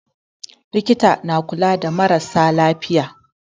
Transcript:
Likitan na kula da marasa lafiya.